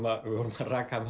að við vorum að raka